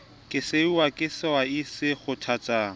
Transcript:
ke sehwai sehwai se kgothetsa